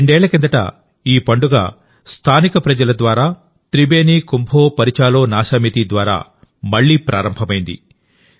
రెండేళ్ల కిందట ఈ పండుగస్థానిక ప్రజల ద్వారాత్రిబేని కుంభో పారిచాలోనాశామితి ద్వారా మళ్లీ ప్రారంభమైంది